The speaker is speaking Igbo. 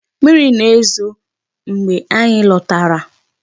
Mmiri na-ezo mgbe anyị lotara.